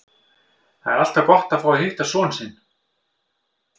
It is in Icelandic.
Það er alltaf gott að fá að hitta son sinn.